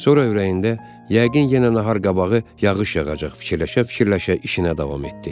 Sonra ürəyində yəqin yenə nahar qabağı yağış yağacaq, fikirləşə-fikirləşə işinə davam etdi.